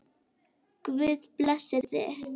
Guð blessi þig!